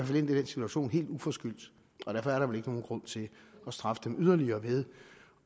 situation helt uforskyldt og derfor er der vel ikke nogen grund til at straffe dem yderligere ved